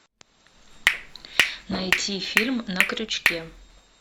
найти фильм на крючке